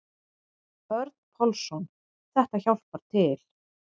Örn Pálsson: Þetta hjálpar til.